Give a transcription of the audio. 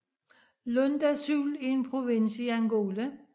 Lunda Sul er en provins i Angola